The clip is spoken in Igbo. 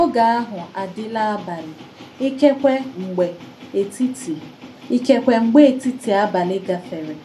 Ògé ahụ àdị́là àbàlị̀, ìkèkwé mgbè ètìtì ìkèkwé mgbè ètìtì àbàlị̀ gàfèré,